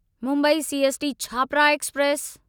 Mumbai CST Chhapra express